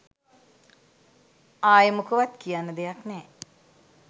අයෙ මොකවත් කියන්න දෙයක් නෑ